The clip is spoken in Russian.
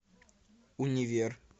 универ